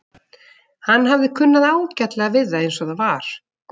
Hann hafði kunnað ágætlega við það eins og það var.